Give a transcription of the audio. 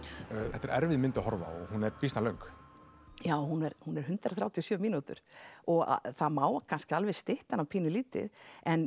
þetta er erfið mynd að horfa á hún er býsna löng já hún er hún er hundrað þrjátíu og sjö mínútur og það má kannski alveg stytta hana pínu lítið en